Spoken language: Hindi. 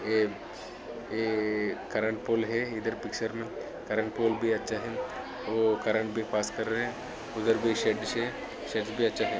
ये करंट पोल है इधर पीछे मे करंट पोल भी अच्छा है वो करंट भी पास कर रहे है उधर कोई --